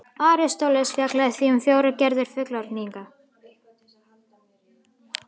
Aristóteles fjallaði því um fjórar gerðir fullyrðinga: